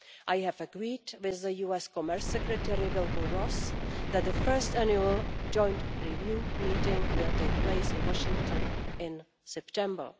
I have agreed with the US Commerce Secretary Wilbur Ross that the first annual joint review meeting will take place in Washington in September.